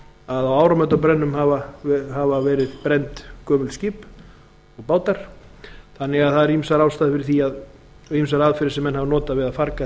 að á áramótabrennum hafi verið brennd gömul skip og bátar þannig að það eru ýmsar ástæður fyrir því og ýmsar aðferðir sem menn hafa notað við að farga